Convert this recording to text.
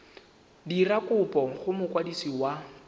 dira kopo go mokwadisi wa